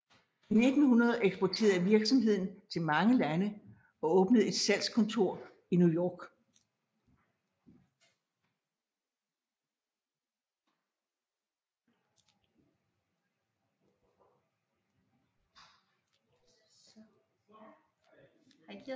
I 1900 eksporterede virksomheden til mange lande og åbnede et slagskontor i New York